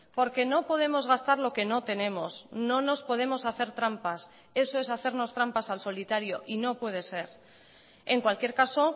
porque no podemos gastar lo que no tenemos no nos podemos hacer trampas eso es hacernos trampas al solitario y no puede ser en cualquier caso